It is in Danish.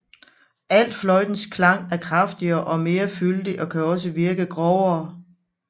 Altfløjtens klang er kraftigere og mere fyldig og kan også virke lidt grovere